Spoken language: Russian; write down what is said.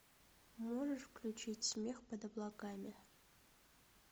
можешь включить смех под облаками